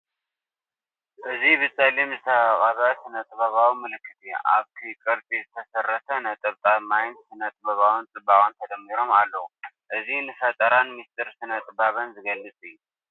እዚ ብጸሊም ዝተቐብአ ስነ-ጥበባዊ ምልክት እዩ። ኣብቲ ቅርጺ ዝተሰረተ ነጠብጣብ ማይን ስነ-ጥበባዊ ጽባቐን ተደሚሮም ኣለዉ። እዚ ንፈጠራን ምስጢር ስነ-ጥበብን ዝገልፅ እዩ።